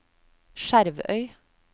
Skjervøy